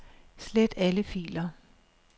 Slet alle filer.